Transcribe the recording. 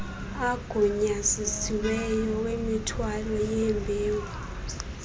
agunyazisiweyo wemithwalo yembewu